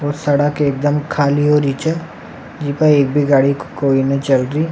और सड़क एक दम खाली होरी छ जेमे एक भी गाडी कोई नहीं चल रही।